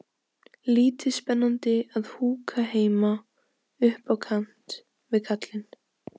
Lítið spennandi að húka heima upp á kant við kallinn.